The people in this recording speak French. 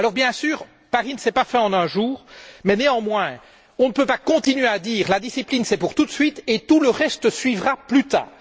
Bien sûr, Paris ne s'est pas fait en un jour mais, néanmoins, on ne peut pas continuer à dire que la discipline c'est pour tout de suite et que tout le reste suivra plus tard.